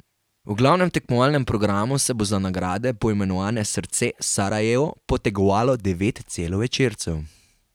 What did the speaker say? V glavnem tekmovalnem programu se bo za nagrade, poimenovane srce Sarajevo, potegovalo devet celovečercev.